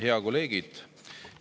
Head kolleegid!